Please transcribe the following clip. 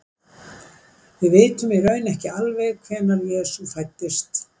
við vitum í raun ekki alveg hvenær jesú fæddist